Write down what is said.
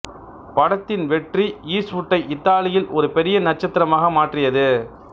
படத்தின் வெற்றி ஈஸ்ட்வுட்டை இத்தாலியில் ஒரு பெரிய நட்சத்திரமாக மாற்றியது